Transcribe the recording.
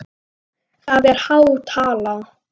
Af veginum aldrei víkur.